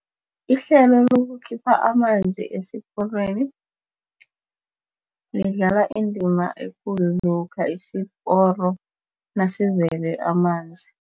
Ihlelo lokukhipha amanzi esiporweni. Lidlala indima ekulu lokha isiporo nasivele amanzi.